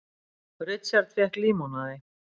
Richard fékk límonaði.